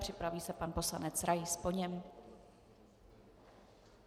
Připraví se pan poslanec Rais po něm.